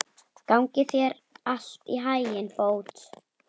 Gangi þér allt í haginn, Bót.